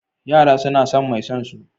Yara suna son mai son su.